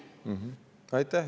Aitäh!